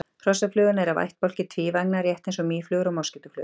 hrossaflugan er af ættbálki tvívængna rétt eins og mýflugur og moskítóflugur